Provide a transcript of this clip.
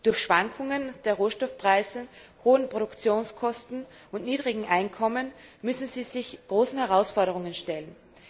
Durch Schwankungen bei den Rohstoffpreisen, hohe Produktionskosten und niedrige Einkommen müssen sie sich großen Herausforderungen stellen.